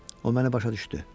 O məni başa düşdü.